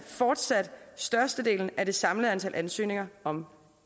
fortsat størstedelen af det samlede antal ansøgninger om